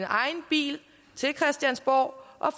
egen bil til christiansborg og